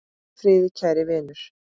Hvíl í friði kæri vinur.